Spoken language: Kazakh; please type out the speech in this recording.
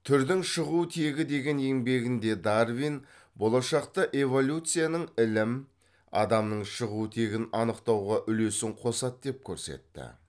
түрдің шығу тегі деген еңбегінде дарвин болашақта эволюцияның ілім адамның шығу тегін анықтауға үлесін қосады деп көрсетті